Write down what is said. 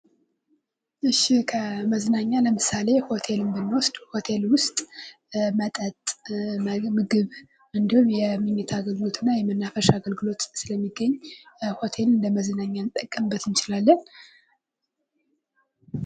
እሺ ከመዝናኛ ለምሳሌ:-ሆቴልን ብንውስድ ሆቴል ውስጥ መጠጥ፣ ምግብ እንዲሁም የመኝታ አገልግሎት እና የመናፈሻ አገልግሎት ስለሚገኝ ሆቴል እንደመዝናኛ ልጠቀምበት እንችላለን።